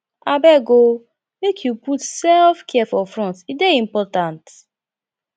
abeg o make you put sefcare for front e dey important